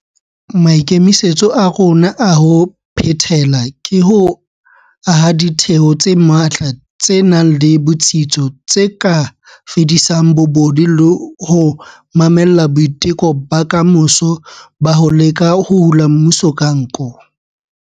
Maikemisetso a rona a ho phethela ke ho aha ditheo tse matla tse nang le botsitso tse ka fedisang bobodu le ho mamella boiteko ba kamoso ba ho leka ho hula mmuso ka nko.